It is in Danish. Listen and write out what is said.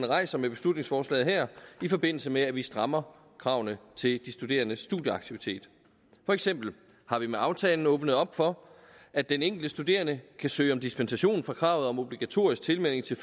rejser med beslutningsforslaget her i forbindelse med at vi strammer kravene til de studerendes studieaktivitet for eksempel har vi med aftalen åbnet op for at den enkelte studerende kan søge om dispensation fra kravet om obligatorisk tilmelding til